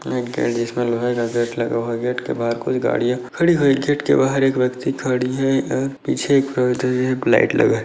एक गेट है जिसमे लोहे का गेट लगा हुआ है गेट के बहार कोई गाड़िया खड़ी हुई है गेट के बाहर एक व्यक्ति खड़ी है और पीछे एक जो है लाइट लगा है।